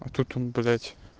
а тут он блять